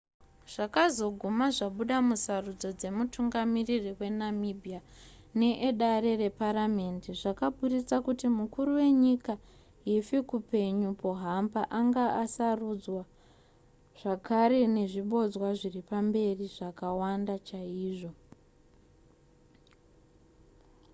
zvakazoguma zvabuda musarudzo dzemutungamiri wenamibia needare reparamhende zvakaburitsa kuti mukuru wenyika hifikepunye pohamba anga asarudzwa zvakare nezvibodzwa zviripamberi zvakawanda chaizvo